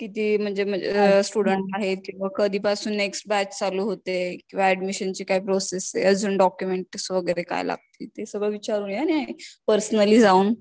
किती म्हणजे स्टुडन्ट आहेत कधीपासून नेक्स्ट बॅट चालू होते, किंवा ऍडमिशनची काय प्रोसेस आहे अजून डॉक्युमेंट्स वगैरे काय लागतील हे सगळं विचारून या आणि पर्सनली जाऊन